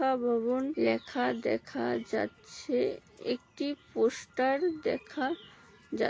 ভবন লেখা দেখা যাচ্ছে। একটি পোস্টার দেখা যা--